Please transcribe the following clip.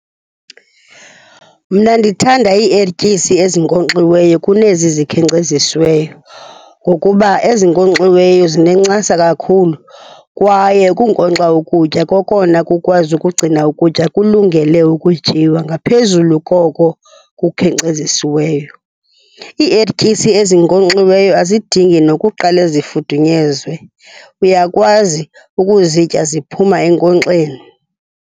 Mna ndithanda iiertyisi ezinkonkxiweyo kunezi zikhenkcezisiweyo ngokuba ezinkonkxiweyo zinencasa kakhulu kwaye ukunkonkxa ukutya kokona kukwazi ukugcina ukutya kulungele ukutyiwa ngaphezulu koko kukhenkcezisiweyo. Iiertyisi ezinkonkxiweyo azidingi nokuqale zifudunyezwe, uyakwazi ukuzitya ziphuma enkonkxeni.